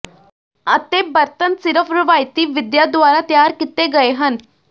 ਅਤੇ ਬਰਤਨ ਸਿਰਫ਼ ਰਵਾਇਤੀ ਵਿਧੀਆਂ ਦੁਆਰਾ ਤਿਆਰ ਕੀਤੇ ਗਏ ਹਨ